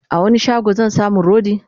a wani shago zan samu rodi?